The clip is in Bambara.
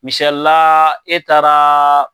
Misilala e taara